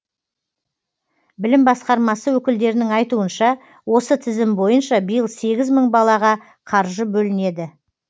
білім басқармасы өкілдерінің айтуынша осы тізім бойынша биыл сегіз мың балаға қаржы бөлінеді